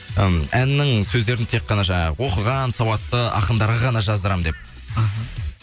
м әннің сөздерін тек қана жаңағы оқыған сауатты ақындарға ғана жаздырамын деп аха